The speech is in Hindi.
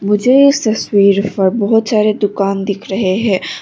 मुझे इस तस्वीर पर बहोत सारे दुकान दिख रहे है।